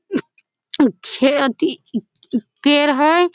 खेत अ पेड़ हई।